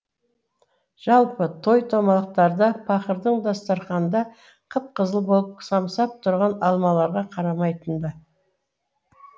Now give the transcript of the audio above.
жалпы той томалақтарда пақырың дастарқанда қып қызыл болып самсап тұрған алмаларға қарамайтын да